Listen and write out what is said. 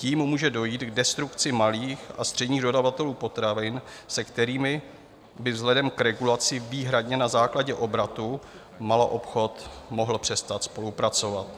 Tím může dojít k destrukci malých a středních dodavatelů potravin, se kterými by vzhledem k regulaci výhradně na základě obratu maloobchod mohl přestat spolupracovat.